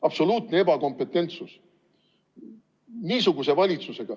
Absoluutne ebakompetentsus.